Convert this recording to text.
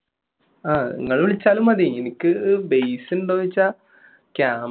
നിങ്ങൾ വിളിച്ചാലും മതി എനിക്ക് base ഉണ്ടോ എന്ന് ചോദിച്ചാൽ camera